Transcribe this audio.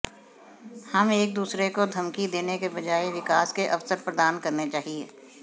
हम एक दूसरे को धमकी देने के बजाय विकास के अवसर प्रदान करने चाहिए